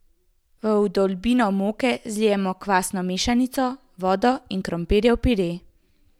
V vdolbino moke zlijemo kvasno mešanico, vodo in krompirjev pire.